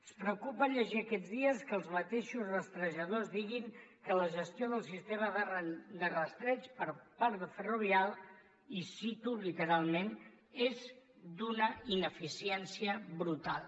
ens preocupa llegir aquests dies que els mateixos rastrejadors diguin que la gestió del sistema de rastreig per part de ferrovial i cito literalment és d’una ineficiència brutal